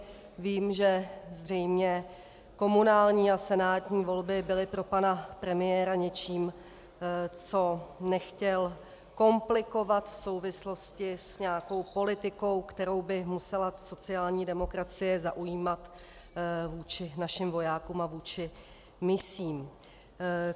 Vím, že zřejmě komunální a senátní volby byly pro pana premiéra něčím, co nechtěl komplikovat v souvislosti s nějakou politikou, kterou by musela sociální demokracie zaujímat vůči našim vojákům a vůči misím.